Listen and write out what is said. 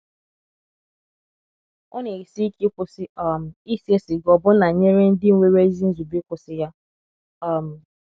Ọ na - esi ike ịkwụsị um ise siga ọbụna nyere ndị nwere ezi nzube ịkwụsị ya. um